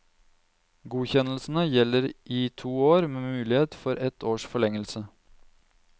Godkjennelsene gjelder i to år med mulighet for ett års forlengelse.